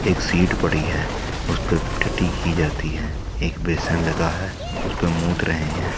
एक सीट पड़ी है उस पर टटी की जाती है एक बेसन लगा है उस परे मूत रहे हैं।